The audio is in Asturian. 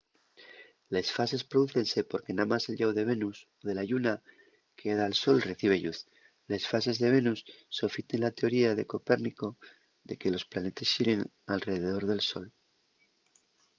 les fases prodúcense porque namás el llau de venus o de la lluna que da al sol recibe lluz. les fases de venus sofiten la teoría de copérnico de que los planetes xiren alredor del sol